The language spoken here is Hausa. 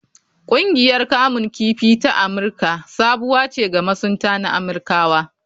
Ƙungiyar kamun kifi ta Amirka sabuwa ce ga masunta na Amirkawa.